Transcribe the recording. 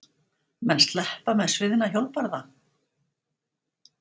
Menn sleppa með sviðna hjólbarða?